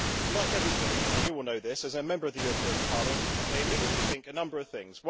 Like everybody and you all know this as a Member of the European Parliament they immediately think a number of things.